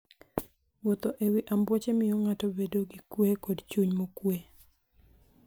Wuotho e wi ambuoche miyo ng'ato bedo gi kuwe kod chuny mokuwe.